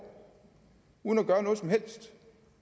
uden at gøre noget som helst